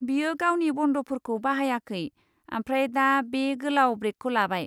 बियो गावनि बन्दफोरखौ बाहायाखै आफ्राय दा बे गोलाव ब्रेकखौ लाबाय।